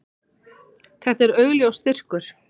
Þetta er augljós styrkur.